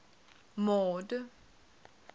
mord